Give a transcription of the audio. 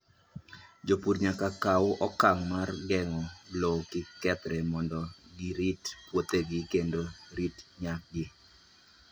Jopur nyaka kaw okang' mar geng'o lowo kik kethre, mondo girit puothegi kendo rito nyakgi.